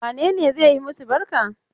Wane ne zai yi masu barka?